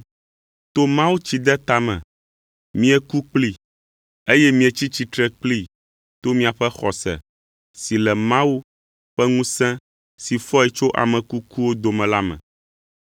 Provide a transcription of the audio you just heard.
To mawutsideta me, mieku kplii, eye mietsi tsitre kplii to miaƒe xɔse si le Mawu ƒe ŋusẽ si fɔe tso ame kukuwo dome la me.